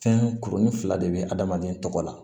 Fɛn kurunin fila de bɛ adamaden tɔgɔ la